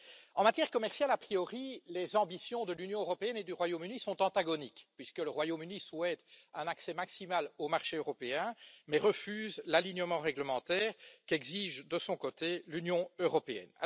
En matière commerciale, a priori, les ambitions de l'Union européenne et du Royaume Uni sont antagoniques, puisque le Royaume Uni souhaite un accès maximal au marché européen, mais refuse l'alignement réglementaire qu'exige, de son côté, l'Union européenne.